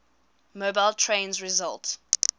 mobile trains result